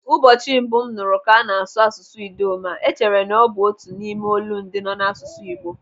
Ụbọchị mbụ m nụrụ ka ana-asụ asụsụ Idoma, echere na ọ bụ otu n'ime olundị nọ n'asụsụ Igbo.